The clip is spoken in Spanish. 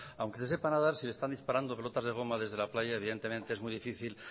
aunque se sepa nadar si le están disparando pelotas de goma desde la playa evidentemente es muy difícil